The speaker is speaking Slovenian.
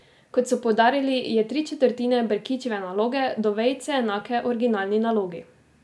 Kot so poudarili, je tri četrtine Brkićeve naloge do vejice enake originalni nalogi.